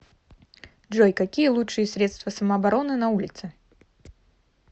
джой какие лучшие средства самообороны на улице